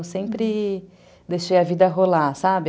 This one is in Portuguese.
Eu sempre deixei a vida rolar, sabe?